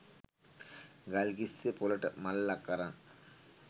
ගල්කිස්සෙ පොළට මල්ලක් අරන්